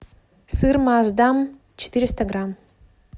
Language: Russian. сыр маасдам четыреста грамм